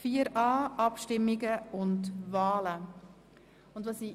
Wir sind bei 4.a Abstimmungen und Wahlen angelangt.